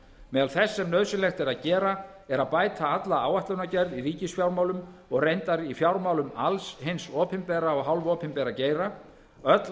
meðal þess sem nauðsynlegt er að gera er að bæta alla áætlanagerð í ríkisfjármálum og reyndar í fjármálum alls hins opinbera og hálfopinbera geira öll